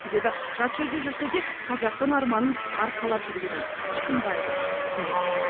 себебі жат жерде жүрсе де қазақтың арманын арқалап жүргенін тұрсынбаева түсінеді